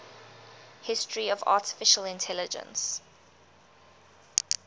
history of artificial intelligence